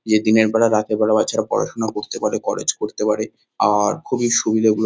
যে দিনের বেলা রাতের বেলা বাচ্চারা পড়াশোনা করতে পারে কলেজ করতে পারে আর খুবই সুবিধা এগুলো।